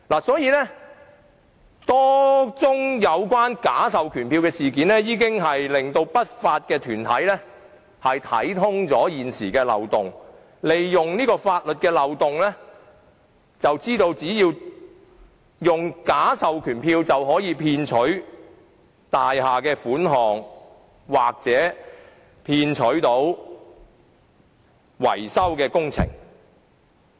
所以，多宗有關假授權書的事件已令不法團體洞悉現時的法律漏洞，並利用這個漏洞，以假授權書騙取大廈業主的款項或投得維修工程。